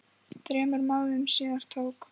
Þremur mánuðum síðar tók